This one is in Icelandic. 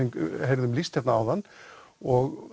heyrðum lýst hérna áðan og